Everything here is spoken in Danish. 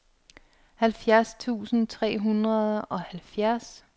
halvfjerds tusind tre hundrede og halvfjerds